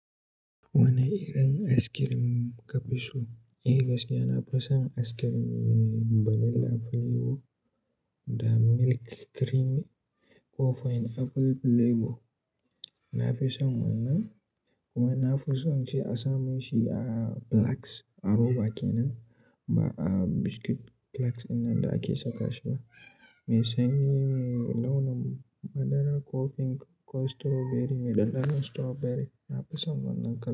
Wane irin askirim ka fi so? Eh gaskiya nafi son askirim me vanilla filabo da milk creamy ko fine apple filabo. Nafison wannan kuma nafison shi a samu shi a Blacks a roba ken nan ba a biscuit Blacks ɗinnan da ake saka shi ba. Mai sanyi, mai launin madara ko pink ko strawberry mai dandanon strawberry nafison wannan.